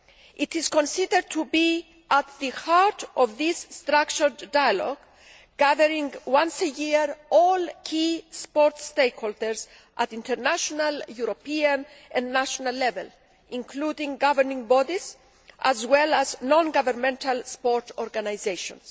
This is considered to be at the heart of this structured dialogue, gathering together once a year all key sports stakeholders at international, European and national level, including governing bodies as well as non governmental sports organisations.